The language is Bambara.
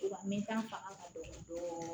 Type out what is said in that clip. Wa mɛta fanga ka dɔgɔ dɔɔni